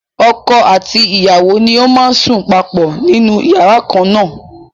Ọkọ àti ìyàwó ni ó máa ń sùn papọ̀ nínú yàrá kan na.